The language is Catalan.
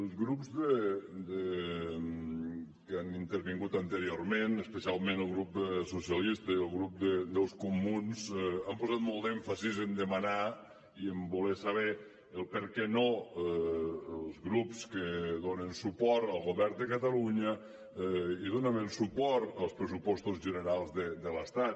els grups que han intervingut anteriorment especialment el grup socialistes i el grup dels comuns han posat molt d’èmfasi en demanar i en voler saber el perquè no els grups que donen suport al govern de catalunya donaven suport als pressupostos de l’estat